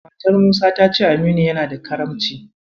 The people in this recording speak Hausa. Matar Musa ta ce Aminu yana da Karamci.